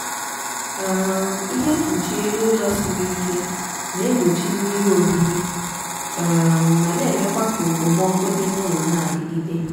um ihe mkpuchi elu ụlọ siri ike na-egbochi mmiri ohihi um ma na-emekwa ka ekpomọku dị n'ụlọ na-adigide